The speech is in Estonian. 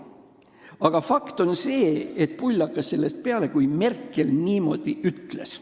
Aga fakt on see, et pull hakkas sellest peale, kui Merkel niimoodi ütles.